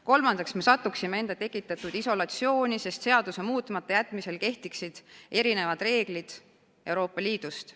Kolmandaks, me satuksime enda tekitatud isolatsiooni, sest seaduse muutmata jätmise korral kehtiksid meil teistsugused reeglid kui mujal Euroopa Liidus.